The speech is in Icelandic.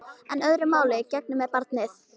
En öðru máli gegnir með barnið.